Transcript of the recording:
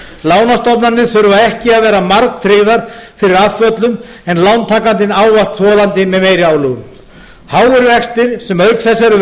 lánastofnanir þurfa ekki að vera margtryggðar fyrir afföllum en lántakandinn ávallt þolandi með meiri álögum háir vextir sem auk þess eru